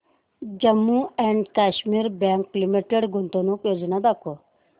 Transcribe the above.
Jammu and Kashmir bank limited गुंतवणूक योजना दाखव